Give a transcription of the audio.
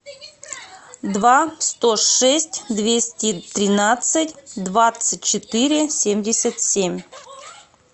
два сто шесть двести тринадцать двадцать четыре семьдесят семь